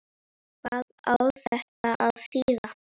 Hvað á þetta að þýða?